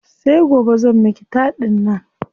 Sai gobe zan miki taɗin nan.